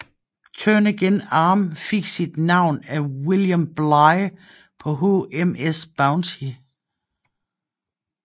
Turnagain Arm fik sit navn af William Bligh på HMS Bounty